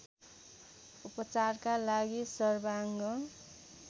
उपचारका लागि सर्वाङ्ग